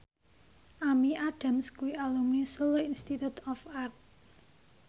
Amy Adams kuwi alumni Solo Institute of Art